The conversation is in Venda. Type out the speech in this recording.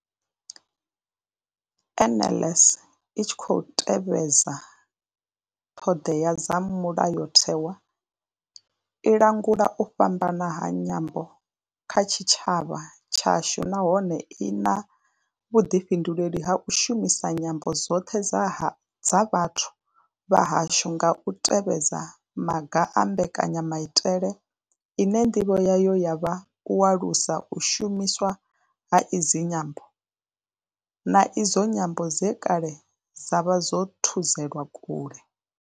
NLS I tshi khou tevhedza ṱhodea dza mulayotewa, i langula u fhambana ha nyambo kha tshitshavha tshashu nahone I na vhuḓifhinduleli ha u shumisa nyambo dzoṱhe dza vhathu vha hashu nga u tevhedza maga a mbekanyamaitele ine ndivho yayo ya vha u alusa u shumiswa ha idzi nyambo, na idzo nyambo dze kale dza vha dzo thudzelwa kule.